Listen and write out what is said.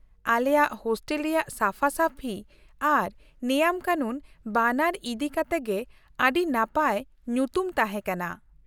ᱟᱞᱮᱭᱟᱜ ᱦᱳᱥᱴᱮᱞ ᱨᱮᱭᱟᱜ ᱥᱟᱯᱷᱟ ᱥᱟᱹᱯᱷᱤ ᱟᱨ ᱱᱮᱭᱟᱢ ᱠᱟᱱᱩᱱ ᱼᱵᱟᱱᱟᱨ ᱤᱫᱤ ᱠᱟᱛᱮ ᱜᱮ ᱟᱹᱰᱤ ᱱᱟᱯᱟᱭ ᱧᱩᱛᱩᱢ ᱛᱟᱦᱮᱸ ᱠᱟᱱᱟ ᱾